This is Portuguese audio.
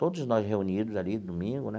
Todos nós reunidos ali, domingo, né?